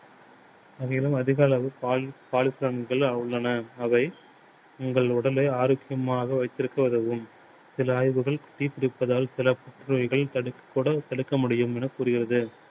அங்கே எல்லாம் அதிக அளவு உள்ளன. அவை உங்கள் உடலை ஆரோக்கியமாக வைத்திருக்க உதவும். சில ஆய்வுகள் tea குடிப்பதால் சில புற்று நோய்களை தடுக்க கூட தடுக்க முடியும்னு கூறுகிறது.